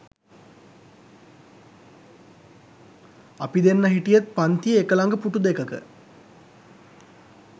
අපි දෙන්න හිටියෙත් පන්තියේ එක ළඟ පුටු දෙකක.